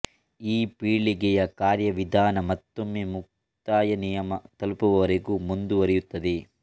ಈ ಪೀಳಿಗೆಯ ಕಾರ್ಯವಿಧಾನ ಮತ್ತೊಮ್ಮೆ ಮುಕ್ತಾಯ ನಿಯಮ ತಲುಪುವವರೆಗೂ ಮುಂದುವರೆಯುತ್ತದೆ